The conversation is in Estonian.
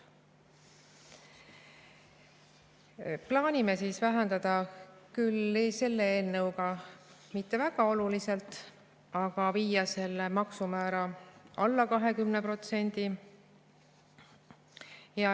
Plaanime vähendada, küll selle eelnõuga mitte väga oluliselt, aga viia selle maksumäära alla 20%.